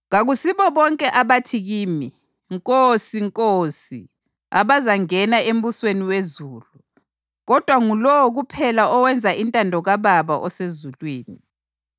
“Kakusibo bonke abathi kimi, ‘Nkosi, Nkosi’ abazangena embusweni wezulu, kodwa ngulowo kuphela owenza intando kaBaba osezulwini.